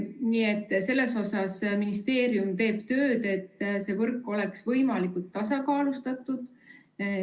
Nii et selles osas, et see võrk oleks võimalikult tasakaalustatud, teeb ministeerium tööd.